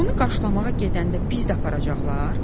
onu qarşılamağa gedəndə bizi də aparacaqlar?